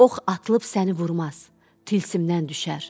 Ox atılıb səni vurmaz, tilsimdən düşər.